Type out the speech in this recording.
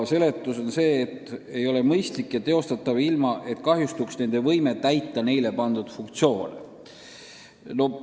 Seletus on, et see ei ole mõistlik ja teostatav, ilma et kahjustuks nende laevade võime täita neile pandud funktsioone.